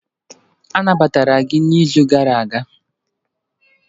Anabatara gị n'izu gara aga?